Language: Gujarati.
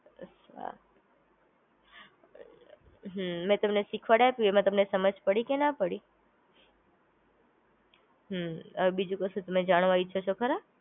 હમ મેં તમને શીખવાડત એમાં તમને સમજ પડી કે ના પડી? હમ આવે બીજું કશું તમે જાણવા ઈચ્છો છો ખરા?